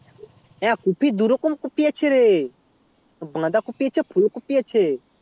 হ্যাঁ কপি দু রকম কোপি আছে রে বাধা কোপি আছে ফুল কোপি রে